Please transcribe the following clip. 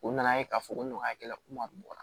U nana ye k'a fɔ ko nɔgɔyakɛla ko la